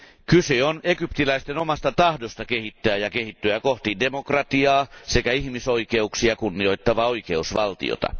Kyse on egyptiläisten omasta tahdosta kehittää ja kehittyä kohti demokratiaa sekä ihmisoikeuksia kunnioittavaa oikeusvaltiota.